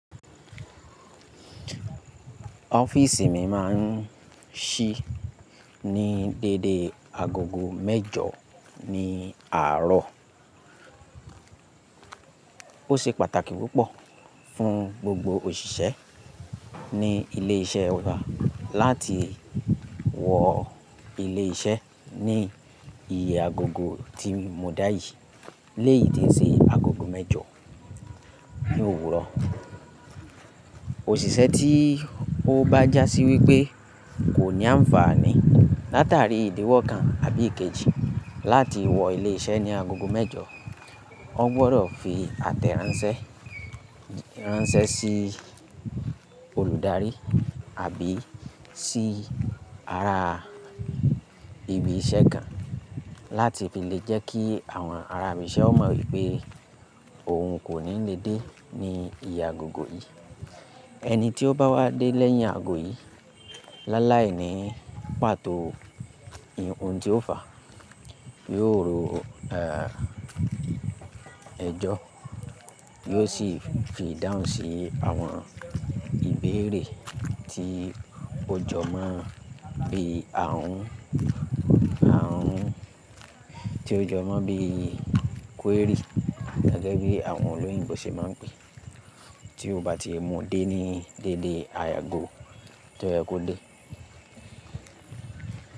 Ọ́fíìsì mi máa ń ṣí ní dédé agogo mẹ́jọ ní àárọ̀. Ó ṣe pàtàkì púpọ̀ fún gbogbo òṣìṣẹ́ ní ilé iṣẹ́ wa láti wọ ilé iṣẹ́ ní ìyẹ́ agogo tí mo dá yìí léyi tí n se agogo mẹ́jọ ní òwúrọ̀. Òṣìṣẹ́ tí ó bá já sí wípé kò ní àǹfààní látàrí ìdíwọ́ kan àbí èkejì láti wọ ilé iṣẹ́ ní agogo mẹ́jọ, wọ́n gbọdọ̀ fi àtẹ̀ránsẹ́ ránṣẹ́ sí olùdarí àbí sí ara ibi iṣẹ́ kan láti fi lè jẹ́ kí àwọn ará ibi iṣẹ́ ó mọ̀ wípé òun kò ní lè dé ní ìyẹ́ agogo yìí. Ẹni tí ó bá wá dé lẹ́yìn ago yìí láláìní pàtó ohun tí ó fà yóò rú ẹjọ́, yóò sì fi dáhùn sí àwọn ìbéèrè tí òjò máa ń bí àwọn tí òjò máa ń bí query gẹ́gẹ́ bí àwọn olóyìnbo ṣe máa ń pè é tí ó bá ti mú dé ní dédé ààgo tí ó yẹ kó dé.